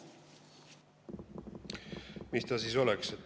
Mis ta siis oleks?